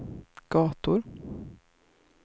gator